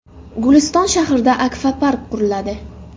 Guliston shahrida akvapark quriladi.